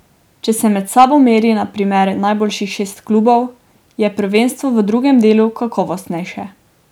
Če se med sabo meri na primer najboljših šest klubov, je prvenstvo v drugem delu kakovostnejše.